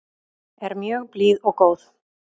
Er mjög blíð og góð.